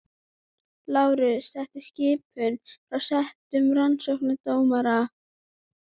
LÁRUS: Þetta er skipun frá settum rannsóknardómara.